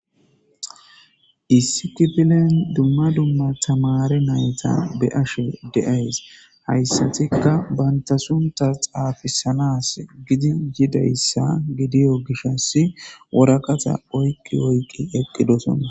issi kifilen dumma dumma tamari nayta be ashe deays hayssatikka banta sunta xaafisanas gidi yidayssa gidiyo gishasi woraqata oyqqi oyqi eqqidosona